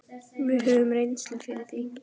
Við höfum reynslu fyrir því.